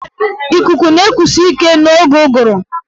Ikuku na-ekusi ike n'oge ụgụrụ.